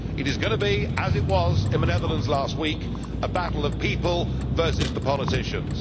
It is going to be as it was in the Netherlands last week a battle of people versus the politicians.